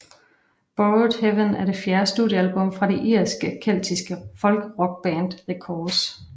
Borrowed Heaven er det fjerde studiealbum af det irske keltiske folkrockband The Corrs